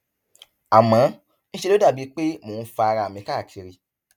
àmọ ń ṣe ló dàbí pé mò ń fa ara mi káàkiri